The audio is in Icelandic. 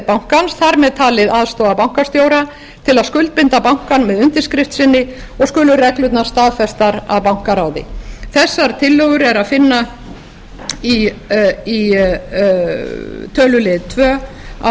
bankans þar með talið aðstoðarbankastjóra til að skuldbinda bankann með undirskrift sinni og skulu reglurnar staðfestar af bankaráði þessar tillögur er að finna í tölulið tvö á